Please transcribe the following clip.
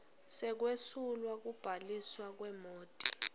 sekwesulwa kubhaliswa kwemoti